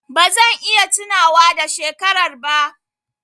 Ba zan iya tunawa da shekarar ba.